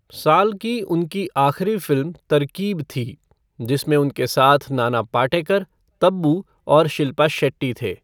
साल की उनकी आखिरी फ़िल्म तरकीब थी, जिसमें उनके साथ नाना पाटेकर, तब्बू और शिल्पा शेट्टी थे।